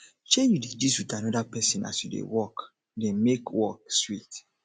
sey you dey gist with another person as you dey work dey make work make work sweet